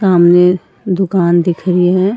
सामने दुकान दिख रही है।